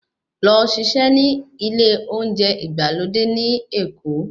Lọ ṣiṣẹ́ ní ilé oúnjẹ ìgbàlódé ní Èkó.